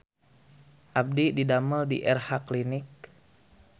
Abdi didamel di Erha Clinic